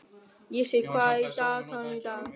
Vésteinn, hvað er í dagatalinu í dag?